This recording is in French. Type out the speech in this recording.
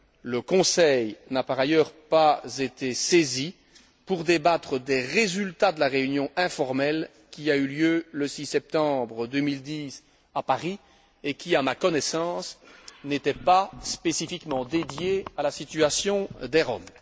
Le Conseil n'a, par ailleurs, pas été saisi pour débattre des résultats de la réunion informelle qui a eu lieu le 6 septembre 2010 à Paris et qui, à ma connaissance, n'était pas spécifiquement dédiée à la situation des Roms.